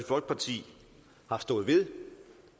folkeparti har stået ved